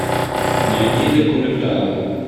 найди документалку